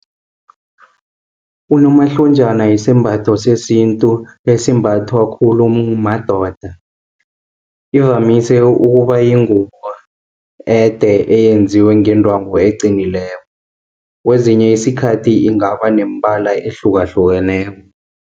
Unomahlonjana yisimbatho sesintu esimbathwa khulu madoda, ivamise ukuba yingubo ede eyenziwe ngendwangu eqinileko. Kwezinye isikhathi ingaba nemibala ehlukahlukeneko.